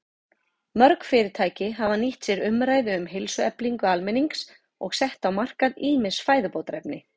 Mörg fyrirtæki hafa nýtt sér umræðu um heilsueflingu almennings og sett á markað ýmis fæðubótarefni.